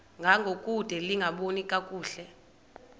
ngangokude lingaboni kakuhle